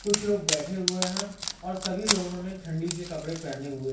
कुछ लोग बैठे हुए हैं और सभी लोगों ने ठंडी के कपड़े पहने हुए हैं।